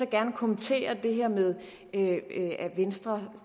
gerne kommentere det her med at venstre